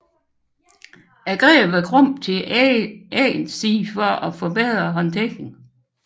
Grebet er krumt til æggens side for at forbedre håndteringen